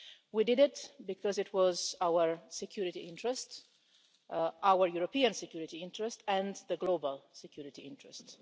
We did it because it was in our security interest our European security interest and the global security interest.